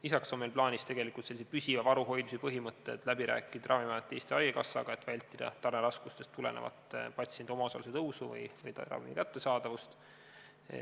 Lisaks on meil plaanis sellise püsiva varu hoidmise põhimõtted läbi rääkida Ravimiameti ja Eesti Haigekassaga, et vältida tarneraskustest tulenevat patsientide omaosaluse tõusu või ravimite kättesaadavust.